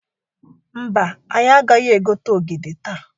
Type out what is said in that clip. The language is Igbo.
Mba, anyị agaghị egote ogede taa.